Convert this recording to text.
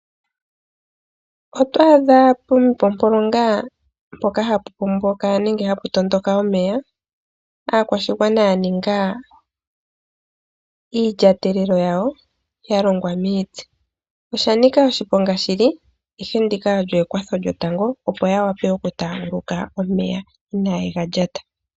Oto adha puupompolonga mpoka hapu pomboka nenge hapu tondoka omeya, aakwashigwana ya ninga iilyatelelo yawo ya longwa miiti. Osha nika oshiponga shli, ashike ndika olyo ekwatho lyotango opo ya vule okutaaguluka omeya, ina yega lata.